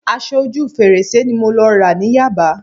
Aṣọ ojú fèrèsé ni mo lọ rà ní Yaba